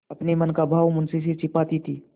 अपने मन का भाव मुंशी से छिपाती थी